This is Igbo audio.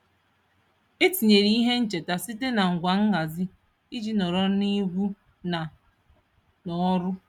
E tinyere ihe ncheta site na ngwa nhazi iji nọrọ n'egwu na n'ọrụ.